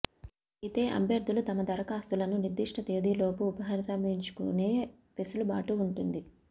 అయితే అభ్యర్థులు తమ దరఖాస్తులను నిర్దిష్ట తేదీలోపు ఉపసంహరించుకునే వెసులుబాటు ఉంటుంది